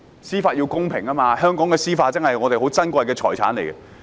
司法要公平，香港的司法是我們珍貴的財產。